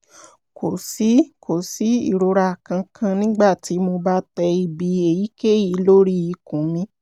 kò sí kò sí ìrora kankan nígbà tí mo bá tẹ ibi èyíkéyìí lórí ikùn mi